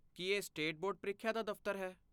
ਕੀ ਇਹ state board ਪ੍ਰੀਖਿਆ ਦਾ ਦਫ਼ਤਰ ਹੈ?